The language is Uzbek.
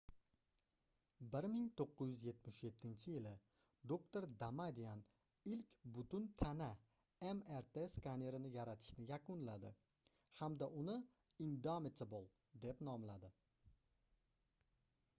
1977-yili doktor damadian ilk butun tana mrt skanerini yaratishni yakunladi hamda uni indomitable deb nomladi